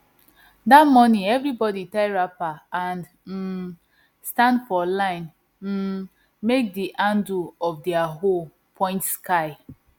that morning everybody tie wrapper and um stand for line um make the handle of their hoe point sky